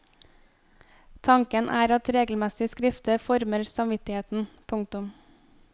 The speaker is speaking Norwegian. Tanken er at regelmessig skrifte former samvittigheten. punktum